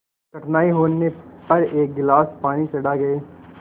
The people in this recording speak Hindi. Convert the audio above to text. कठिनाई होने पर एक गिलास पानी चढ़ा गए